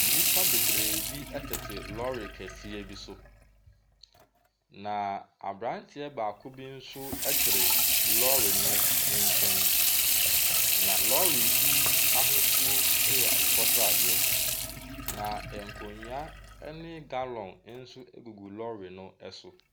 Nnipa bebree bi etete lɔri kɛseɛ bi so. Na abranteɛ baako bi nso ɛkyere lɔri no nkyɛn. Na lɔri yi ahosuo ɛyɛ akokɔ sradeɛ . Na nkonnwa ɛne gallon egugu lɔri yi so.